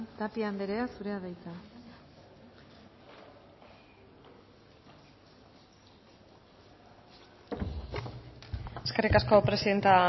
tapia andrea zurea da hitza eskerrik asko presidente